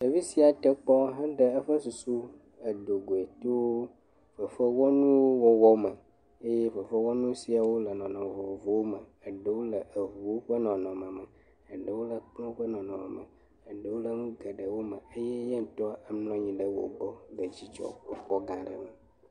Ɖevi sia te kpɔ heɖe eƒe susu do goe to fefewɔnuwo wɔwɔ me eye fefewɔnu siawo le nɔnɔme vovovowo me. Ɖewo le ŋuwo ƒe nɔnɔme, ɖewo le kplɔ̃ ƒe nɔnɔme me, eɖewo le nu geɖewo me eye ye ŋutɔ mlɔ anyi ɖe wo gbɔ le dzidzɔkpɔkpɔ gã aɖe me.